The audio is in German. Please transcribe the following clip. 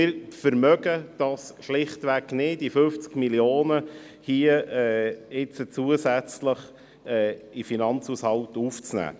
Wir können es uns schlicht nicht leisten, hier 50 Mio. Franken zusätzlich in den Finanzhaushalt aufzunehmen.